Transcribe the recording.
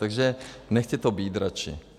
Takže nechte to být radši.